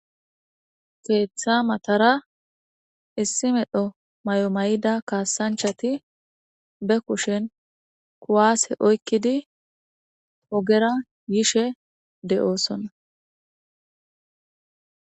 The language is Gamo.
keeththa matara issi medho may7o mayida kaasanchati be kushen kuwaase oykkidi ogera yishe de7oosonna